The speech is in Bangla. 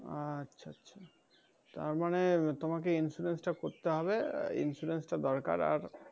হ্যাঁ আচ্ছা আচ্ছা। তারমানে তোমাকে insurance টা করতে হবে। insurance টা দরকার আর,